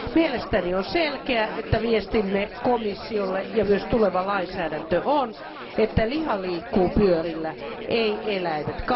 Mielestäni on selkeää, että viestimme komissiolle ja myös tuleva lainsäädäntö on, että liha liikkuu pyörillä, ei eläimet.